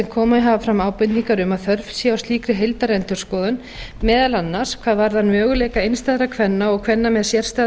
komið hafa fram ábendingar um að þörf sé á slíkri heildarendurskoðun meðal annars hvað varðar möguleika einstæðra kvenna og kvenna með sérstæða